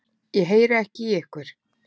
Ég heyri ekki í ykkur.